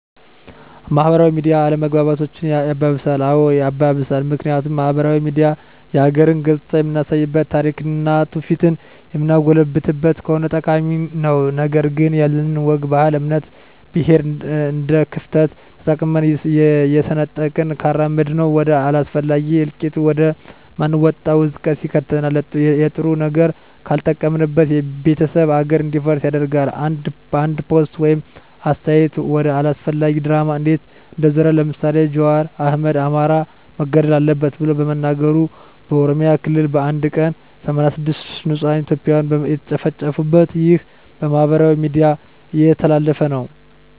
ማህበራዊ ሚዲያ አለመግባባቶችን ያባብሳል? አዎ ያባብሳል ምክንያቱም ማህበራዊ ሚዲያ የሀገርን ገፅታ የምናሳይበት ታሪክና ትውፊቷን የምናጎላበት ከሆነ ጠቃሚ ነው ነገር ግን ያለንን ወግ ባህል እምነት ብሔር እንደክፍተት ተጠቅመን እየሰነጠቅን ካራመድነው ወደ አላስፈላጊ እልቂት ወደ ማንወጣው አዘቅት ይከተናል የለጥሩ ነገር ካልተጠቀምንበት ቤተሰብ ሀገር እንዲፈርስ ያደርጋል አንድ ፖስት ወይም አስተያየት ወደ አላስፈላጊ ድራማ እንዴት እንደዞረ ለምሳሌ ጃዋር አህመድ አማራ መገደል አለበት ብሎ በመናገሩ በኦሮሚያ ክልል በአንድ ቀን 86 ንፁህ እትዮጵያን የተጨፈጨፉበት ይህ በማህበራዊ ሚዲያ የተላለፈ ነው